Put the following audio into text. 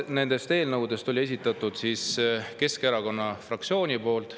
Kaks nendest eelnõudest oli esitatud Keskerakonna fraktsiooni poolt.